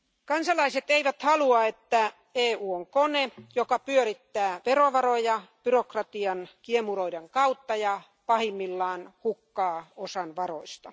Kansalaiset eivät halua, että EU on kone, joka pyörittää verovaroja byrokratian kiemuroiden kautta ja pahimmillaan hukkaa osan varoista.